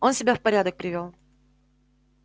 он себя в порядок привёл